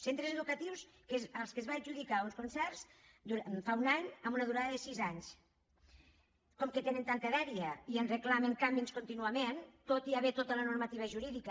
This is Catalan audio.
centres educatius als quals es va adjudicar uns con·certs fa un any amb una durada de sis anys com que tenen tanta dèria i ens reclamen canvis contínuament tot i haver·hi tota la normativa jurídica